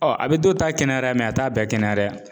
Ɔ a bɛ dɔw ta kɛnɛya a t'a bɛɛ kɛnɛya dɛ